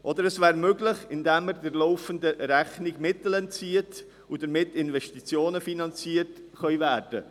Oder es wäre möglich, indem er der laufenden Rechnung Mittel entzöge, damit Investitionen finanziert werden könnten.